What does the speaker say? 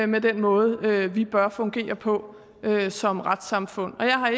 med den måde vi bør fungere på som retssamfund og jeg har